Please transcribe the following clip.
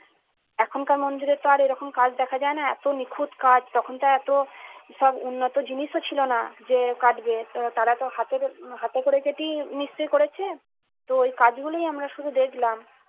এখনকার মন্দিরের তো আর এরকম কাজ দেখা যায় না। এত নিখুঁত কাজ তখন তো এত উন্নত জিনিসও ছিল না। যে কাটবে যে তারা তো হাতে করে হাতে করে কেটেই মিস্ত্রি করেছে। তো ওই কাজগুলোই আমরা শুধু দেখলাম